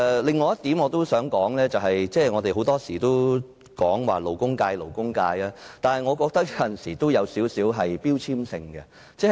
另一點我想說的是，我們經常提及勞工界，有時候我覺得這有少許標籤性質。